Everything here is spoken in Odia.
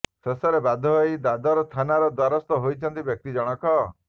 ଶେଷରେ ବାଧ୍ୟ ହୋଇ ଦାଦର ଥାନାର ଦ୍ୱରସ୍ତ ହୋଇଛନ୍ତି ବ୍ୟକ୍ତି ଜଣକ